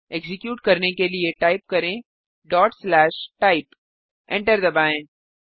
execute करने के लिए टाइप करें type एंटर दबाएँ